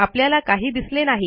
आपल्याला काही दिसले नाही